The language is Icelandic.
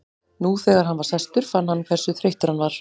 Nú þegar hann var sestur fann hann hversu þreyttur hann var.